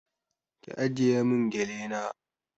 Ki ajiye mun gele na